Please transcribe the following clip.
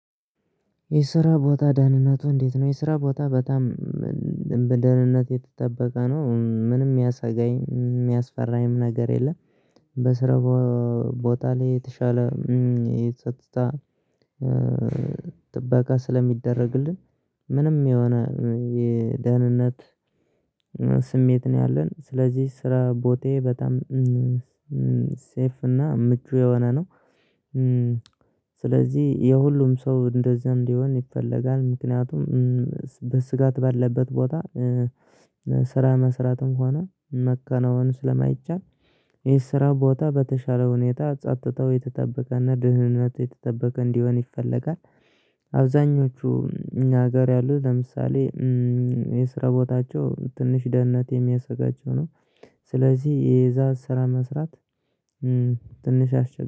የስራ ቦታ ደህንነቱ እንዴት ነው? የስራ ቦታ በጣም በደህንነት የተጠበቀ ነው ምንም የሚያሳጋኝ የሚያስፈራኝም ነገር የለም። በስራ ቦታ ላይ የተሻለ የጸጥታ ጥበቃ ስለሚደረግልን ምንም የሆነ የደህንነት ስሜት ነው ያለን ስለዚህ ስራ ቦታዬ በጣም ሴፍ እና ምቹ የሆነ ነው። ስለዚህ የሁሉም ሰው እንደዚህ እንዲሆን ይፈለጋል ምክንያቱም በስጋት ባለበት ቦታ ስራ መስራት እንኳን መከናወን ስለማይቻል የስራ ቦታ በተሻለ ሁኔታ ጸጥተው የተጠበቀና ድህነት የተጠበቀ እንዲሆን ይፈለጋል። አብዛኞቹ ሀገር ያሉት ለምሳሌ የስራ ቦታቸው ትንሽ ደህንነት የሚያሰጋቸው ነው። ስለዚህ የዛ ስራ መስራት ትንሽ አሽግ